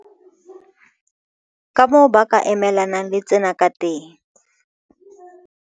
Kamoo ba ka emelanang le tsena kateng